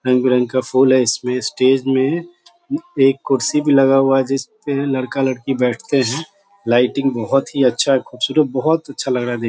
रंग बिरंग का फूल है इसमें स्टेज में एक कुर्सी भी लगा हुआ है जिसमें लड़का लड़की बैठते हैं। लाइटिंग बहुत ही अच्छा है खूबसूरत बहुत अछा लग रहा है देख --